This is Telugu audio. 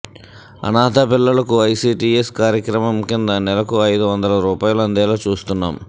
అనాథ పిల్లలకు ఐసీటీఎస్ కార్యక్రమం కింద నెలకు అయిదు వందల రూపాయలు అందేలా చూస్తున్నాం